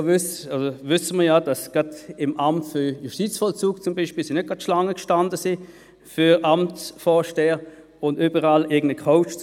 So wissen wir, dass beispielsweise beim Amt für Justizvollzug (AJV) die Kandidierenden für die Anstellung als Amtsvorsteher nicht Schlange standen.